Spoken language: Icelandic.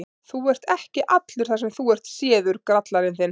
Þú ert ekki allur þar sem þú ert séður, grallarinn þinn!